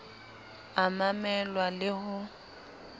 a mamel wa le ho